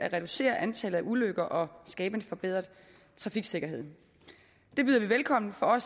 at reducere antallet af ulykker og skabe en forbedret trafiksikkerhed det byder vi velkommen for